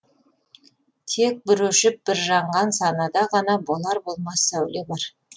тек бір өшіп бір жанған санада ғана болар болмас сәуле бар